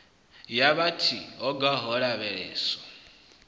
ya vhut hogwa ho lavheleswa